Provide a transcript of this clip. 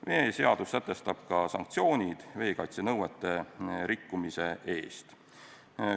Veeseadus sätestab ka sanktsioonid veekaitsenõuete rikkumise eest.